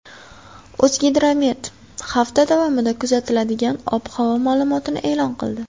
O‘zgidromet hafta davomida kuzatiladigan ob-havo ma’lumotini e’lon qildi .